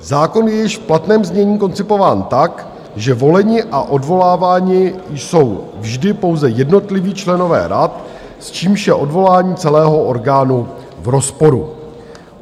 Zákon je již v platném znění koncipován tak, že voleni a odvoláváni jsou vždy pouze jednotliví členové rad, s čímž je odvolání celého orgánu v rozporu.